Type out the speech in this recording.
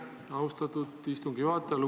Aitäh, austatud istungi juhataja!